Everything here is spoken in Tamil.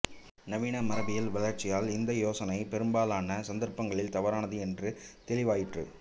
நவீன மரபியல் வளர்ச்சியால் இந்த யோசனை பெரும்பாலான சந்தர்ப்பங்களில் தவறானது என்று தெளிவாயிற்று